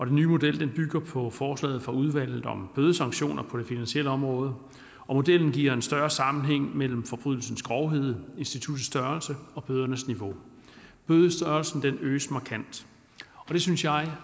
nye model bygger på forslaget fra udvalget om bødesanktioner på det finansielle område og modellen giver en større sammenhæng mellem forbrydelsens grovhed instituttets størrelse og bødernes niveau bødestørrelsen øges markant det synes jeg